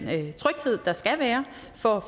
tryghed der skal være for